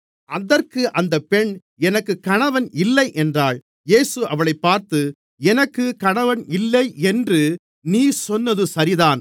அதற்கு அந்த பெண் எனக்குப் கணவன் இல்லை என்றாள் இயேசு அவளைப் பார்த்து எனக்குப் கணவன் இல்லை என்று நீ சொன்னது சரிதான்